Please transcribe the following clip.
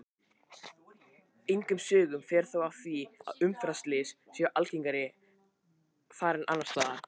Engum sögum fer þó af því að umferðarslys séu algengari þar en annars staðar.